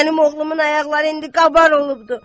Mənim oğlumun ayaqları indi qabar olubdu.